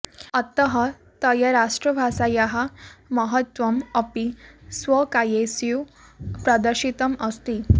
अतः तया राष्ट्रभाषायाः महत्त्वम् अपि स्वकाव्येषु प्रदर्शितम् अस्ति